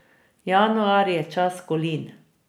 Januar je čas kolin.